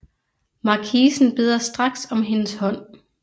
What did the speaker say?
Markisen beder straks om hendes hånd